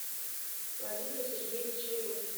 владимира сергеевича ерохина